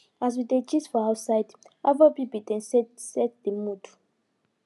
as we dey gist for outside afrobeat been dey set set the mood